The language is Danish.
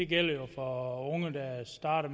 gælder jo for unge der starter